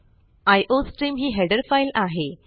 iostream ही header file आहे